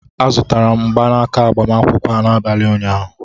A zụtara m mgbanaka agbamakwụkwọ a n'abalị ụnyaahụ